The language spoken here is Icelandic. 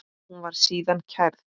Hún var síðan kærð.